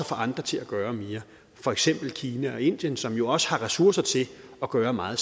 få andre til at gøre mere for eksempel kina og indien som jo også har ressourcer til at gøre meget